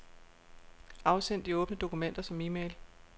Afsend de åbne dokumenter som e-mail.